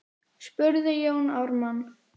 spurði Jón Ármann.